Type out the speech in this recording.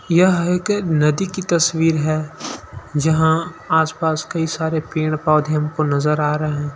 यह एक नदी की तस्वीर है जहाँ आस-पास में कई सारे पेड़-पौधे हमको नज़र आ रहे हैं।